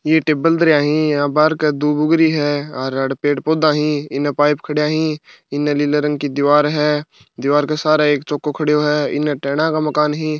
ये टिबिन दरिया ही बहार क दुब उग री है और अड पेड़ पौधा ही इन पाइप खड़ा ही इना नीले रंग की दीवार है दीवार का सारा एक चौक खड़े हो है इन्हें टेन का मकान है।